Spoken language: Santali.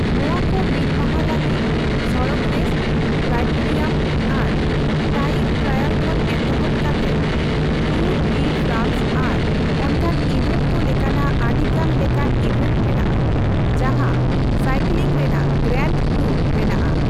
ᱱᱚᱣᱟ ᱠᱚ ᱢᱤᱫ ᱢᱟᱦᱟ ᱞᱟᱹᱜᱤᱫ ᱥᱚᱲᱚᱠ ᱨᱮᱥ, ᱠᱨᱟᱭᱴᱮᱨᱤᱭᱟᱢ, ᱟᱨ ᱴᱟᱭᱤᱢᱼᱴᱨᱟᱭᱟᱞ ᱠᱷᱚᱱ ᱮᱛᱚᱦᱚᱵ ᱠᱟᱛᱮᱫ ᱴᱩᱨ ᱰᱤ ᱯᱷᱨᱟᱱᱥ ᱟᱨ ᱚᱱᱠᱟᱱ ᱤᱵᱷᱮᱱᱴ ᱠᱚ ᱞᱮᱠᱟᱱᱟᱜ ᱟᱹᱰᱤᱜᱟᱱ ᱞᱮᱠᱟᱱ ᱤᱵᱷᱮᱱᱴ ᱢᱮᱱᱟᱜᱼᱟ, ᱡᱟᱦᱟᱸ ᱥᱟᱭᱠᱞᱤᱝ ᱨᱮᱱᱟᱜ ᱜᱨᱟᱱᱰ ᱴᱩᱨ ᱵᱮᱱᱟᱜᱼᱟ ᱾